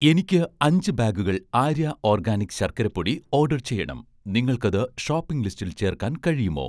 എനിക്ക് അഞ്ച് ബാഗുകൾ 'ആര്യ' ഓർഗാനിക് ശർക്കര പൊടി ഓഡർ ചെയ്യണം, നിങ്ങൾക്കത് ഷോപ്പിംഗ് ലിസ്റ്റിൽ ചേർക്കാൻ കഴിയുമോ?